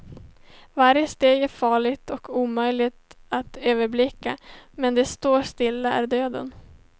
Varje steg är farligt och omöjligt att överblicka, men att stå stilla är döden.